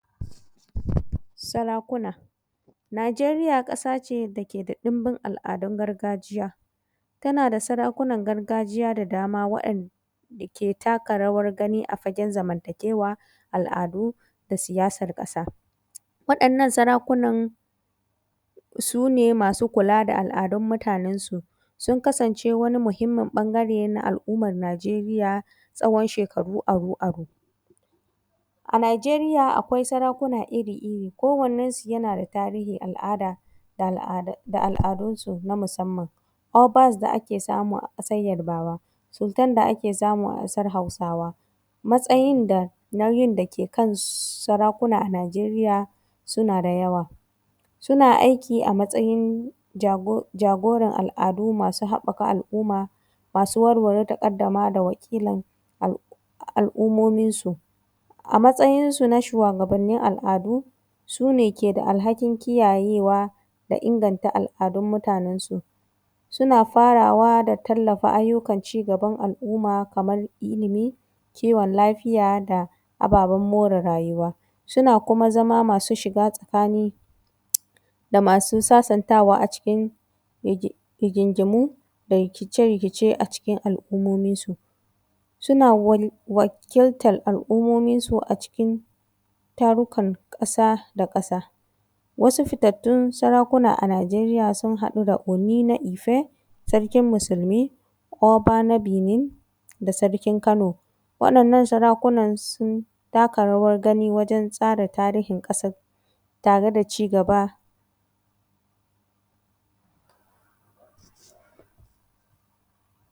Sarakuna, Najeriya ƙasa ce dake da ɗunbun al’adun gargajiya, tana da Sarakunan gargajiya da dama waɗanda ke taka rawar gani a wajen zamantakewa, al’adu da siyasar ƙasa waɗannan Sarakunan su ne masu kula da al’adun mutane, sun kasance wani muhinmin ɓangare na al’umar Najeriya tsawon shekaru aru-aru. A Najeriya akwai Sarakuna irir-iri ko wannensu yana da tahirin al’ada da al’adunsu na musamman Obas da ake samu a matsayin Yarbawa Sultan da ake samu a ƙasan Hausawa. Matsayin da ke kan sarakuna a arewacin Najeriya suna da yawa suna aiki a matsayin jagoran al’adu masu haƙaka al’umma, masu warware taƙaddama da wakilin al’umominsu, a matsayinsu na shuwagabannin al’adu su ne ke da alhakin kiyayewa da iganta al’adun mutanensu, suna fawa da ayyukan tallafa, ci gaban al’uma kamar ilimi, kiwon lafiya da ababen more rayuwa, suna kuma masu shiga tsakani da masu sasantawa a cikin rigingimu da rikice-rikice a cikin alummominsu, suna wakiltan al’ummominsu a wajen tarukan ƙasa da ƙsa. Wasu fitattaun Sarakuna a Najeriya sun haɗa da Unefe ife, Sarkin musulmi, Oba na Bine da Sarkin Kano waɗannan sarakunan sun taka rawar gani wajen tsara tarihin ƙasa tare da cigaba.